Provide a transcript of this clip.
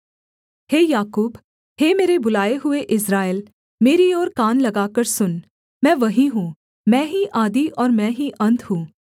हे याकूब हे मेरे बुलाए हुए इस्राएल मेरी ओर कान लगाकर सुन मैं वही हूँ मैं ही आदि और मैं ही अन्त हूँ